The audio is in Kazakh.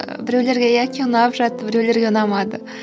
біреулерге яки ұнап жатты біреулерге ұнамады